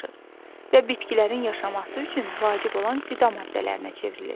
Və bitkilərin yaşaması üçün vacib olan qida maddələrinə çevrilir.